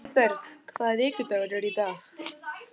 Auðberg, hvaða vikudagur er í dag?